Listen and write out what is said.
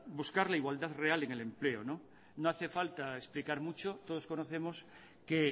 buscar la igualdad real en el empleo no hace falta explicar mucho todos conocemos que